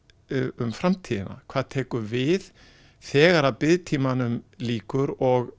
um framtíðina hvað tekur við þegar biðtímanum lýkur og